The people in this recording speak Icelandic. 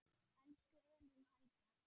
Elsku Elín Helga.